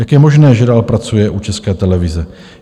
Jak je možné, že dál pracuje u České televize?